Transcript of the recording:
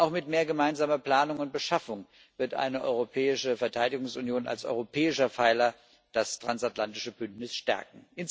Auch mit mehr gemeinsamer Planung und Beschaffung wird eine europäische Verteidigungsunion als europäischer Pfeiler das transatlantische Bündnis stärken.